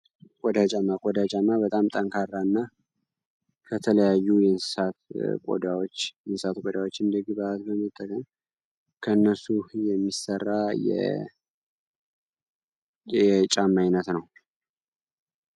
ቆዳ ጫማ ቆዳ ጫማ በጣም ጠንካራ እና ከተለያዩ የእንሰሳት ቆዳዎችን እንደ ግብዓት በመጠቀም ከነሱ የሚሰራ የጫማ አይነት ነው።